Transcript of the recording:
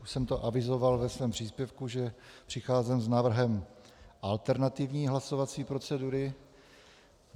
Už jsem to avizoval ve svém příspěvku, že přicházím s návrhem alternativní hlasovací procedury.